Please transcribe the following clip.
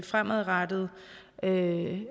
fremadrettet ikke